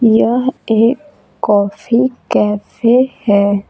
यह एक coffee cafe है।